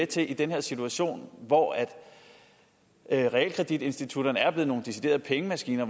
til i den her situation hvor realkreditinstitutterne er blevet nogle deciderede pengemaskiner